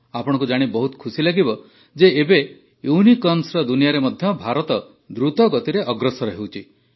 ଆପଣଙ୍କୁ ଜାଣି ବହୁତ ଖୁସି ଲାଗିବ ଯେ ଏବେ ୟୁନିକର୍ଣ୍ଣର ଦୁନିଆରେ ମଧ୍ୟ ଭାରତ ଦ୍ରୁତଗତିରେ ଅଗ୍ରସର ହେଉଛି